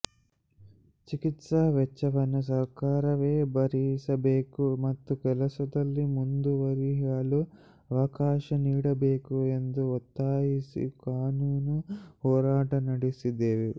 ಚಿಕಿತ್ಸಾ ವೆಚ್ಚವನ್ನು ಸರ್ಕಾರವೇ ಭರಿಸಬೇಕು ಮತ್ತು ಕೆಲಸದಲ್ಲಿ ಮುಂದುವರಿಯಲು ಅವಕಾಶ ನೀಡಬೇಕು ಎಂದು ಒತ್ತಾಯಿಸಿ ಕಾನೂನು ಹೋರಾಟ ನಡೆಸಿದೆವು